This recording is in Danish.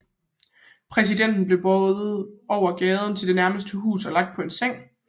Præsidenten blev båret over gaden til det nærmeste hus og lagt på en seng